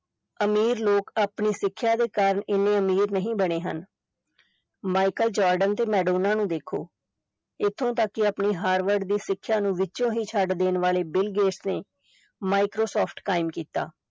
ਅਮੀਰ ਲੋਕ ਆਪਣੀ ਸਿੱਖਿਆ ਦੇ ਕਾਰਨ ਇੰਨੇ ਅਮੀਰ ਨਹੀਂ ਬਣੇ ਹਨ ਮਾਇਕਲ ਜਾਰਡਨ ਤੇ ਮੈਡੋਨਾ ਨੂੰ ਦੇਖੋ, ਇਥੋਂ ਤਕ ਕਿ ਆਪਣੀ ਹਾਰਵਰਡ ਦੀ ਸਿੱਖਿਆ ਨੂੰ ਵਿਚੋਂ ਹੀ ਛੱਡ ਦੇਣ ਵਾਲੇ ਬਿਲ ਗੇਟਸ ਨੇ ਮਾਈਕਰੋਸੋਫਟ ਕਾਇਮ ਕੀਤਾ।